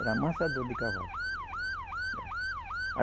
Era amansador de cavalo. Era